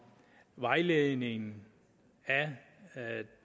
vejledningen af